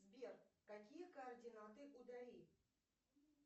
сбер какие координаты у дали